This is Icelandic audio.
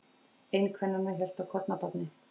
Ein kvennanna hélt á kornabarni.